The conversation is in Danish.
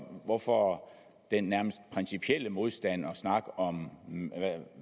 hvorfor den nærmest principielle modstand og snak om